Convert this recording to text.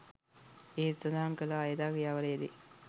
ඉහත සඳහන් කළ අයථා ක්‍රියාවල යෙදේ.